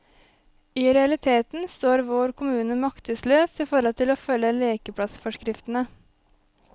I realiteten står vår kommune maktesløs i forhold til å følge lekeplassforskriftene.